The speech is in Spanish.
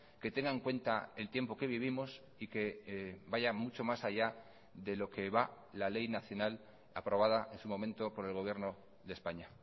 que tenga en cuenta el tiempo que vivimos y que vaya mucho más allá de lo que va la ley nacional aprobada en su momento por el gobierno de españa